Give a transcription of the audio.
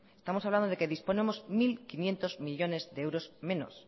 estamos hablando de que disponemos mil quinientos millónes de euros menos